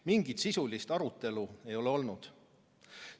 Mingit sisulist arutelu ei ole olnud.